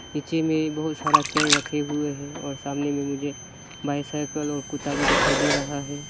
नीचे में बहोत सारा चेयर रखे हुए है और सामने में मुझे बाइसिकल और कुत्ता भी दिखाई दे रहा है।